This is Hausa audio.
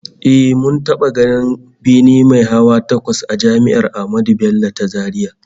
Eh, mun taba ganin bene mai hawa takwas a Jami'ar Ahmadu Bello ta Zaria